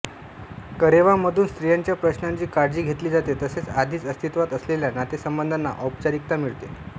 करेवा मधून स्त्रियांच्या प्रश्नांची काळजी घेतली जाते तसेच आधीच अस्तित्वात असलेल्या नातेसंबंधाना औपचारिकता मिळते